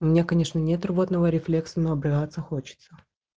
у меня конечно нет рвотного рефлекса но обрыгаться хочется